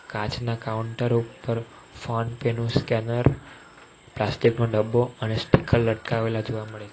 કાચના કાઉન્ટર ઉપર ફોનપે નુ સ્કેનર પ્લાસ્ટિક નો ડબ્બો અને સ્ટીકર લટકાવેલા જોવા મળે છે.